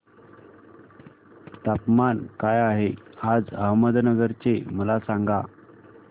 तापमान काय आहे आज अहमदनगर चे मला सांगा